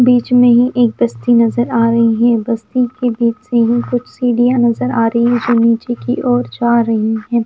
बीच में ही एक बस्ती नजर आ रही है बस्ती के बीच से ही कुछ सीढ़ियां नजर आ रही है जो नीचे की ओर जा रही है।